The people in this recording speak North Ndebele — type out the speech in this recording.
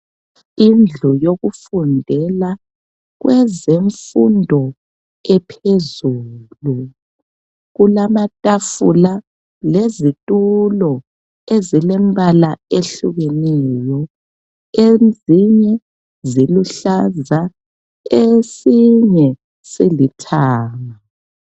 Indlu yokufundela kwezemfundo ephezulu. Kulamatafula lezitulo ezilembala ehlukeneyo. Ezinye ziluhlaza esinye silithanga.